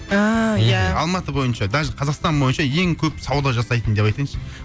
ааа иә алматы бойынша даже қазақстан бойынша ең көп сауда жасайтын деп айтайыншы